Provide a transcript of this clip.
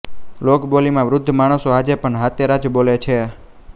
લોકબોલીમાં વૃદ્ધ માણસો આજે પણ હાતેરા જ બોલે છે